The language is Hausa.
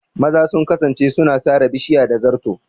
Maza sun kasance suna sare bishiya da zato.